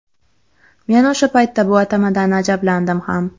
Men o‘sha paytda bu atamadan ajablandim ham.